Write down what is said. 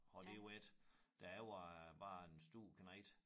Har lige været da jeg var barn stor knægt